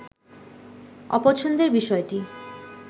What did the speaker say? অপছন্দের বিষয়টি